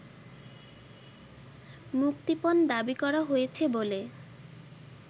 মুক্তিপণ দাবি করা হয়েছে বলে